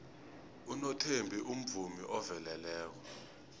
unothembi umvumi oveleleko